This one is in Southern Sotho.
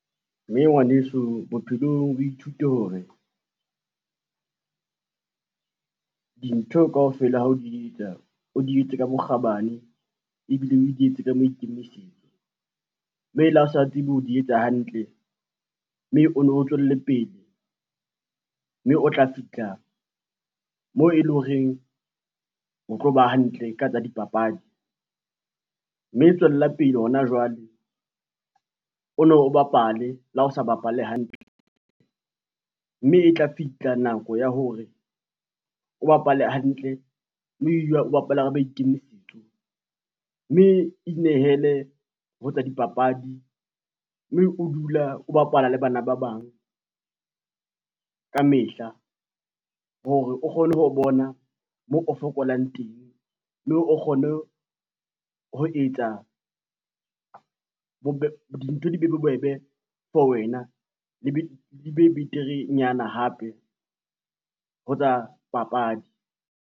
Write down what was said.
Mme ngwaneso bophelong o ithute hore, dintho kaofela ha o di etsa o di etse ka bokgabane ebile o di etse ka maikemisetso, mme le ha o sa tsebe ho di etsa hantle, mme o no tswelle pele mme o tla fihla moo e leng horeng o tlo ba hantle ka tsa dipapadi. Mme tswella pele hona jwale o no bapale le ha o sa bapale hantle, mme e tla fihla nako ya hore o bapale hantle, mme o bapale ka maikemisetso, mme inehele ho tsa dipapadi mme o dula o bapala le bana ba bang ka mehla hore o kgone ho bona moo o fokolang teng mme o kgone ho etsa dintho di be bobebe for wena di be beterenyana hape ho tsa papadi.